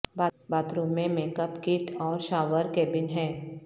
bath room میں makeup kit اور shower cabin ہے